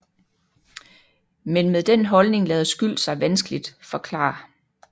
Men med den holdning lader skyld sig vanskeligt forklare